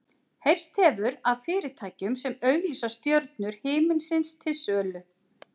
Heyrst hefur af fyrirtækjum sem auglýsa stjörnur himinsins til sölu.